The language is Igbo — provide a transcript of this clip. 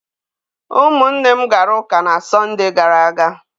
Ụmụnne m gara ụka na Sọndee gara aga.